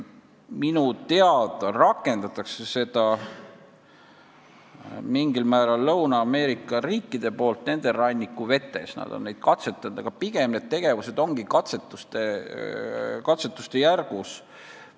Minu teada rakendavad seda mingil määral Lõuna-Ameerika riigid oma rannikuvetes, aga pigem on need tegevused alles katsetuste järgus.